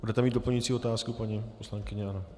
Budete mít doplňující otázku, paní poslankyně?